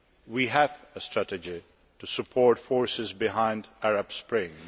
we have a strategy to support forces behind the Arab Spring.